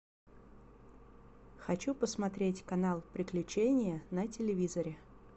хочу посмотреть канал приключения на телевизоре